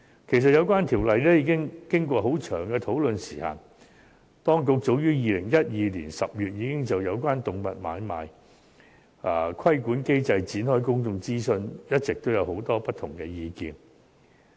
其實，有關規例已經過長時間的討論，當局早於2012年10月已就有關動物買賣規管機制展開公眾諮詢，一直都有很多不同的意見。